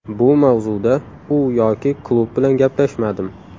Bu mavzuda u yoki klub bilan gaplashmadim.